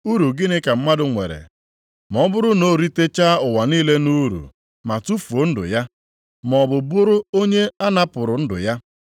Uru gịnị ka mmadụ nwere ma ọ bụrụ na o ritechaa ụwa niile nʼuru ma tufuo ndụ ya, maọbụ bụrụ onye a napụrụ ndụ ya?